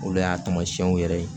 Olu y'a taamasiyɛnw yɛrɛ ye